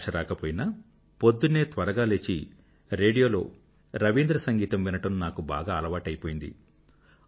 భాష రాకపోయినా పొద్దున్నే త్వరగా లేచి రేడియోలో రవీంద్ర సంగీతం వినడం నాకు బాగా అలవాటై పోయింది